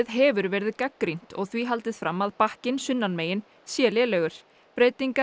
hefur verið gagnrýnt og því haldið fram að bakkinn sunnan megin sé lélegur breytingar